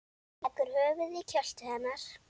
Leggur höfuðið í kjöltu hennar.